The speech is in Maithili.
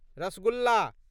रसगुल्ला